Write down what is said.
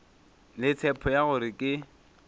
le tshepo ya gore ke